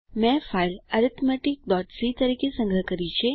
મેં ફાઈલ arithmeticસી તરીકે સંગ્રહ કરી છે